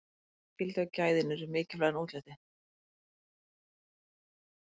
notagildið og gæðin urðu mikilvægara en útlitið